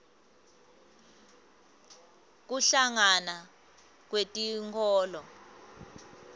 kuhlangana kwetinkholo